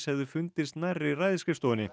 hefði fundist nærri